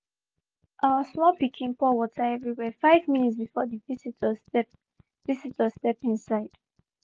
our small pikin pour water everywhere five minutes before the visitors step visitors step inside